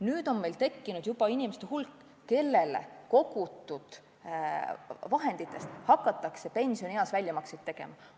Nüüd on meil tekkinud juba hulk inimesi, kellele kogutud vahenditest on hakatud pensionieas väljamakseid tegema.